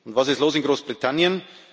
Was ist los in Großbritannien?